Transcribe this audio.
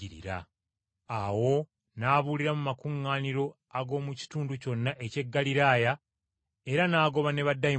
Awo n’abuulira mu makuŋŋaaniro ag’omu kitundu kyonna eky’e Ggaliraaya, era n’agoba ne baddayimooni.